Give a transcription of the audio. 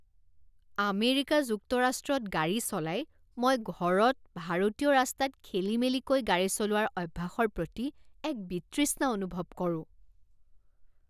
America যুক্তৰাষ্ট্ৰত গাড়ী চলাই, মই ঘৰত, ভাৰতীয় ৰাস্তাত খেলিমেলিকৈ গাড়ী চলোৱাৰ অভ্যাসৰ প্ৰতি এক বিতৃষ্ণা অনুভৱ কৰো।